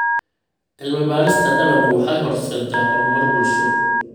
Cilmi-baarista dalaggu waxay horseeddaa horumar bulsho.